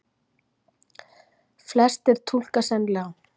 Flestir túlka sennilega græðgi þó sem meira en bara vilja til að græða.